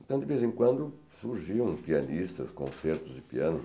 Então, de vez em quando, surgiam pianistas, concertos de piano.